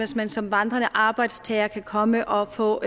man som vandrende arbejdstager kan komme og få